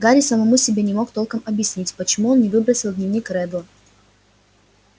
гарри самому себе не мог толком объяснить почему он не выбросил дневник реддла